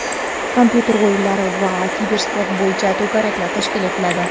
kompyuter o‘yinlari va kibersport bo‘yicha to‘garaklar tashkil etiladi.